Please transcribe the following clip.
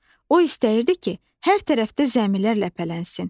O istəyirdi ki, hər tərəfdə zəmilər ləpələnsin.